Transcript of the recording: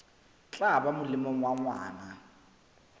tla ba molemong wa ngwana